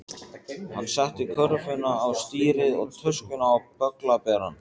Hann setti körfuna á stýrið og töskuna á bögglaberann.